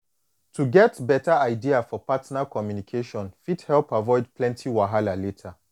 to get beta idea for partner communication fit help avoid plenty wahala later